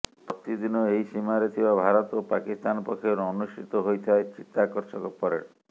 ପ୍ରତିଦିନ ଏହି ସୀମାରେ ଥିବା ଭାରତ ଓ ପାକିସ୍ତାନ ପକ୍ଷରୁ ଅନୁଷ୍ଠିତ ହୋଇଥାଏ ଚିତ୍ତାକର୍ଷକ ପରେଡ